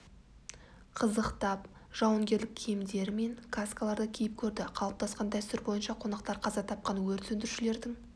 қызықтап жауынгерлік киімдері мен каскаларды киіп көрді қалыптасқан дәстүр бойынша қонақтар қаза тапқан өрт сөндірушілердің